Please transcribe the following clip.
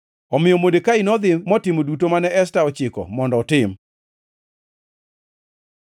Omiyo Modekai nodhi motimo duto mane Esta ochiko mondo otim.